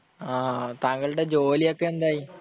താങ്കളുടെ ജോലിയൊക്കെ എന്തായി?